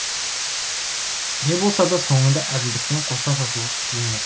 не болса да соңында әділдікпен қоса татулық жеңет